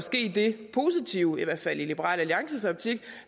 ske det positive i hvert fald i liberal alliances optik